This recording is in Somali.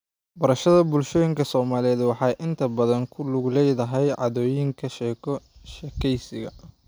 Barashada bulshooyinka Soomaalida waxay inta badan ku lug leedahay caadooyinka sheeko-sheekeysiga.